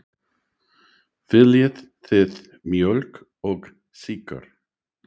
Viljið þið mjólk og sykur?